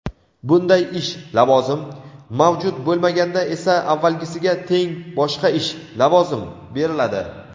bunday ish (lavozim) mavjud bo‘lmaganda esa avvalgisiga teng boshqa ish (lavozim) beriladi.